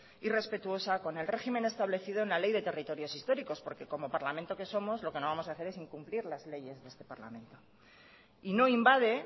y respetuosa con el régimen establecido en la ley de territorios históricos porque como parlamento que somos lo que no vamos a hacer es incumplir las leyes de este parlamento y no invade